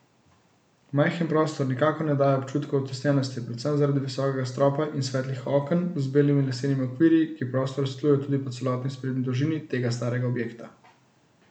Majhen prostor nikakor ne daje občutka utesnjenosti, predvsem zaradi visokega stropa in svetlih oken z belimi lesenimi okvirji, ki prostor osvetljujejo tudi po celotni sprednji dolžini tega starega objekta.